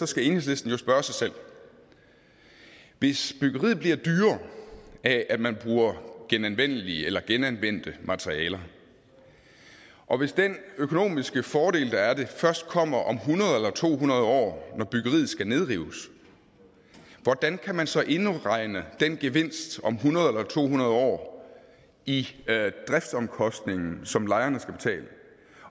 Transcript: skal enhedslisten jo spørge sig selv hvis byggeriet bliver dyrere af at man bruger genanvendelige eller genanvendte materialer og hvis den økonomiske fordel der er ved det først kommer om hundrede år eller to hundrede år når byggeriet skal nedrives hvordan kan man så indregne den gevinst om hundrede år eller to hundrede år i driftsomkostningen som lejerne skal betale